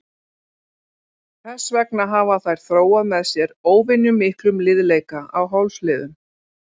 Þess vegna hafa þær þróað með sér óvenjumiklum liðleika á hálsliðum.